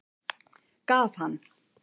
Gaf hann